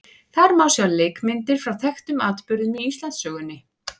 Þar má sjá leikmyndir frá þekktum atburðum í Íslandssögunni.